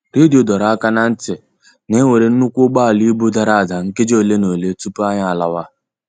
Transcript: Redio doro aka na ntị na-enwere nnukwu ụgbọala ibu dara ada nkeji ole na ole tupu anyị a lawa.